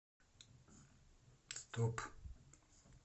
стоп